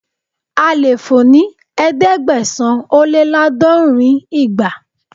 A lè fò ní ẹ̀ẹ́dẹ́gbẹ̀sán-ó-lé-láàdọ́rin ìgbà.